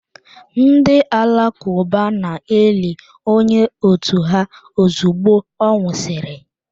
Ndị Alakụba na-eli onye otu ha ozugbo ọ nwụsịrị.